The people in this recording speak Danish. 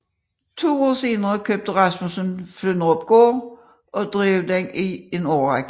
To år senere købte Rasmussen Flynderupgård og drev den i en årrække